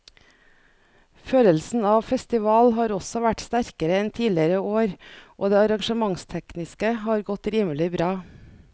Følelsen av festival har også vært sterkere enn tidligere år og det arrangementstekniske har godt rimelig bra.